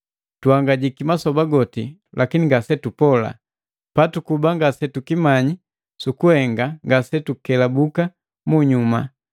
Tuhangajika masoba goti, lakini ngasetupola, patukuba ngasetukimanya sukuhenga ngasetukelabuka munyuma.